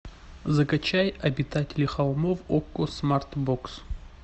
закачай обитатели холмов окко смарт бокс